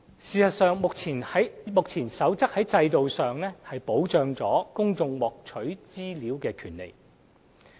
事實上，目前的《守則》在制度上亦保障公眾獲取資料的權利。